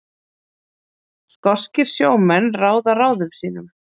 Skoskir sjómenn ráða ráðum sínum